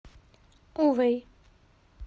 увэй